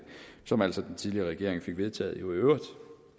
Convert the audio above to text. som altså den tidligere regering fik vedtaget i øvrigt